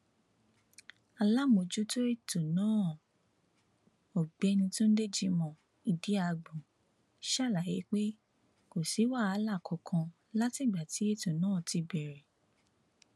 aláàmọjútó ètò náà ọgbẹni túnde jimoh idiagbọn ṣàlàyé pé kò sí wàhálà kankan látìgbà tí ètò náà ti bẹrẹ